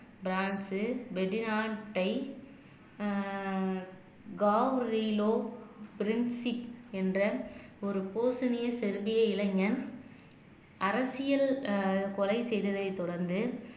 France வெடி நாட்டை ஆஹ் என்ற ஒரு போசனையை செறுவிய இளைஞன் அரசியல் ஆஹ் கொலை செய்ததை தொடர்ந்து